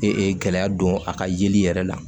Ee gɛlɛya don a ka yeli yɛrɛ la